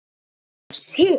Þín Andrea Sif.